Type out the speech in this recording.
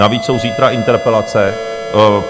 Navíc jsou zítra interpelace.